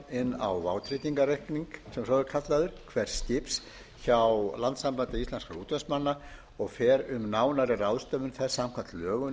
inn á vátryggingarreikning sem svo er kallaður hvers skips hjá landssambandi íslenskra útvegsmanna og fer um nánari ráðstöfun þess samkvæmt lögum